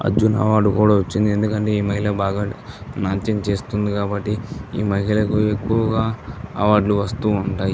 Arjun award కూడా వచ్చింది. ఎందుకంటే ఈ మహిళా బాగా నాట్యం చేస్తుంది కాబట్టి ఈ మహిళలకు ఎక్కువుగా అవార్డు లు వస్తూ ఉంటాయి.